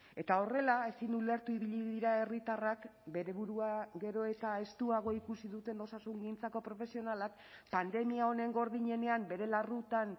eta horrela ezin ulertu ibili dira herritarrak bere burua gero eta estuago ikusi duten osasungintzako profesionalak pandemia honen gordinenean bere larrutan